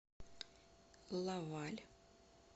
лаваль